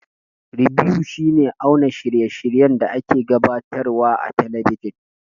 Ribew shi ne auna shirye shiryen da a ke gabatar wa a talabijan